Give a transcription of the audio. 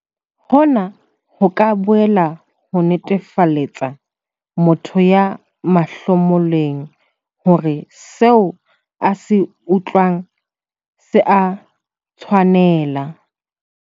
Hona ho ka boela ho netefaletsa motho ya mahlomoleng hore seo a se utlwang se a tshwanela.